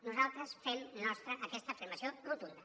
nosaltres fem nostra aquesta afirmació rotunda